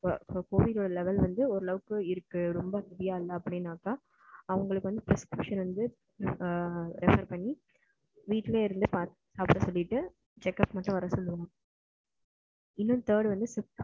covid ஓட level வந்து ஒரு அளவுக்கு இருக்கு ரெம்ப முடியல அப்படின்னாக்க அவங்களுக்கு வந்து prescription வந்து refer பண்ணி அவங்களுக்கு வந்து வீட்டுலயே இருந்து பாக்க சொல்லிட்டு, checkup மட்டும் வர சொல்லலாம்.